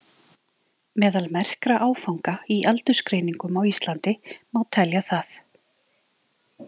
Meðal merkra áfanga í aldursgreiningum á Íslandi má telja það.